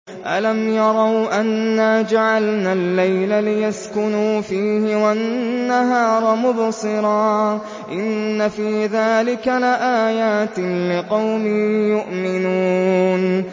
أَلَمْ يَرَوْا أَنَّا جَعَلْنَا اللَّيْلَ لِيَسْكُنُوا فِيهِ وَالنَّهَارَ مُبْصِرًا ۚ إِنَّ فِي ذَٰلِكَ لَآيَاتٍ لِّقَوْمٍ يُؤْمِنُونَ